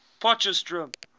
potchefstroom